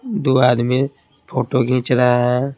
दो आदमी फोटो खींच रहे हैं।